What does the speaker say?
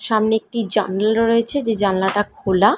সামনে একটি জানলা রয়েছে যে জানলাটা খোলা।